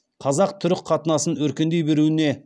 қазақ түрік қатынасын өркендей беруіне